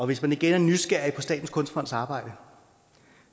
hvis man er nysgerrig på statens kunstfonds arbejde